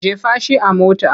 Jefa shi a mota!